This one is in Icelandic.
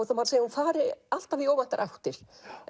það má segja að hún fari alltaf í óvæntar áttir